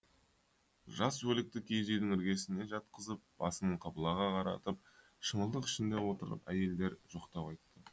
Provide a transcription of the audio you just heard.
жас өлікті киіз үйдің іргесіне жатқызып басын қыбылаға қаратып шымылдық ішінде отырып әйелдер жоқтау айтты